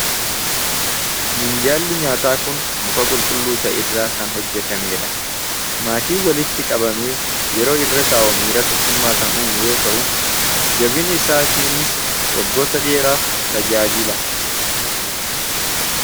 Minjaalli nyaataa kun muka qulqulluu ta'e irraa kan hojjetamee dha. Maatii walitti qabame yeroo irra taa'u miira tokkumaa kan uumu yoo ta'u jabina isaatiiniis waggoota dheeraaf tajaajil.